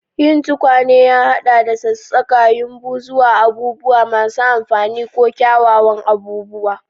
Yin tukwane ya haɗa da sassaƙa yumbu zuwa abubuwa masu amfani ko kyawawan abubuwa.